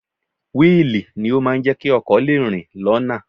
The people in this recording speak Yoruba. Wíìlì ni ó máa ń jẹ́ kí ọkọ̀ lè rìn lọ́nà